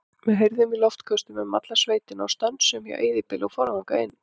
Við keyrðum í loftköstum um alla sveitina og stönsuðum hjá eyðibýli og fórum þangað inn.